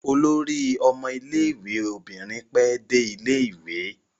Olórí ọmọ ilé-ìwé obìnrin pẹ́ dé ilé-ìwé.